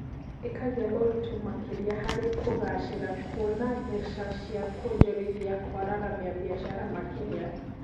Ĩkagĩa ũritũ makĩria harĩ kugacĩra kwona mbeca cia kwonjorithia kwararamia biacara makĩria